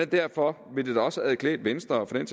derfor ville det da også have klædt venstre og for den